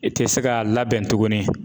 I tɛ se ka labɛn tugunni.